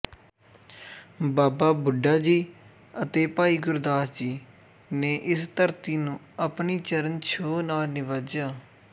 ਬਾਬਾ ਬੁੱਢਾ ਜੀ ਅਤੇ ਭਾਈ ਗੁਰਦਾਸ ਜੀ ਨੇ ਇਸ ਧਰਤੀ ਨੂੰ ਆਪਣੀ ਚਰਨਛੋਹ ਨਾਲ ਨਿਵਾਜਿਆ